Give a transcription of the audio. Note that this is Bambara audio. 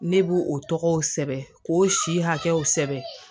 Ne b'o o tɔgɔw sɛbɛn k'o si hakɛw sɛbɛn